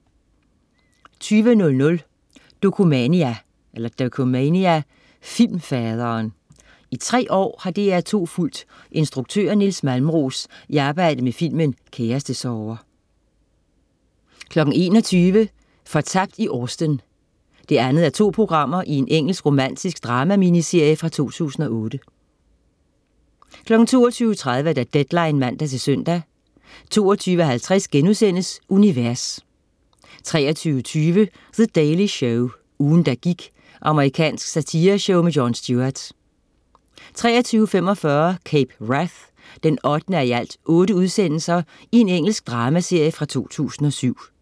20.00 Dokumania: Filmfaderen. I tre år har DR2 fulgt instruktøren Nils Malmros i arbejdet med filmen "Kærestesorger" 21.00 Fortabt i Austen 2:2. Engelsk romantisk drama-miniserie fra 2008 22.30 Deadline (man-søn) 22.50 Univers* 23.20 The Daily Show. Ugen, der gik. Amerikansk satireshow med Jon Stewart 23.45 Cape Wrath 8:8. Engelsk dramaserie fra 2007